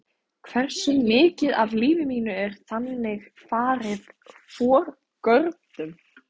Hversu mikið af lífi mínu er þannig farið forgörðum?